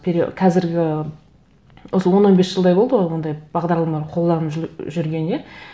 қазіргі осы он он бес жылдай болды ғой ондай бағдарламалар қолданылып жүргеніне